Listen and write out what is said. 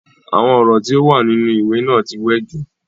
Àwọn ọ̀rọ̀ tí o wà nínú ìwé náà ti wẹ jù.